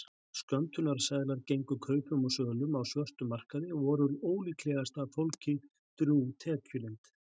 Skömmtunarseðlar gengu kaupum og sölum á svörtum markaði og voru ólíklegasta fólki drjúg tekjulind.